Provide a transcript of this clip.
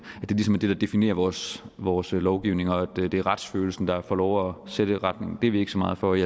der definerer vores vores lovgivning og det er retsfølelsen der får lov at sætte retningen det er vi ikke så meget for i